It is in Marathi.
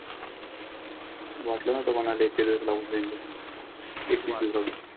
वाटलं नव्हतं कोणालाही पण आधी इतके दिवस लागून होईल ते. एकवीस दिवसाचं.